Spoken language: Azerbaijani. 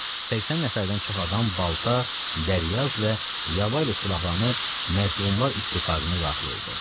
80 nəfərdən çox adam balta, dəryaz və yaba ilə silahlanıb məzlumlar ittifaqına daxil oldu.